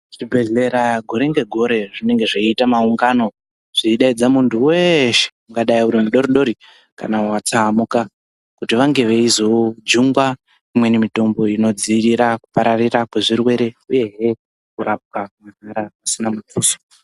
Zvibhedhlera gore negore zvinenge zveiita maungano zveidaidza muntu weshe ungadai mudodori kana watsaamuka kuti vange veizo jungwa imweni mitombo inodzivirira kupararira kwezvirwere uyezve kurapwa mahala pasina muduso.